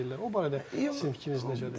O barədə sizin fikriniz necədir?